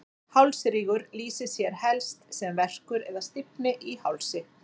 hálsrígur lýsir sér helst sem verkur eða stífni í hálsi